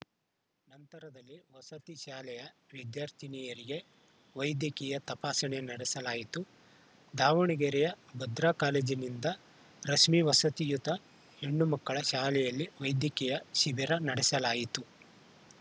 ನಂತರದಲ್ಲಿ ವಸತಿ ಶಾಲೆಯ ವಿದ್ಯಾರ್ಥಿನಿಯರಿಗೆ ವೈದ್ಯಕೀಯ ತಪಾಸಣೆ ನಡೆಸಲಾಯಿತು ದಾವಣಗೆರೆಯ ಭದ್ರಾ ಕಾಲೇಜಿನಿಂದ ರಶ್ಮಿ ವಸತಿಯುತ ಹೆಣ್ಣು ಮಕ್ಕಳ ಶಾಲೆಯಲ್ಲಿ ವೈದ್ಯಕೀಯ ಶಿಬಿರ ನಡೆಸಲಾಯಿತು